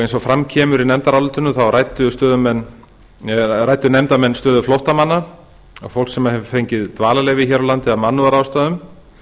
eins og fram kemur í nefndarálitinu ræddu nefndarmenn stöðu flóttamanna að fólk sem hefur fengið dvalarheimili hér á landi af mannúðarástæðum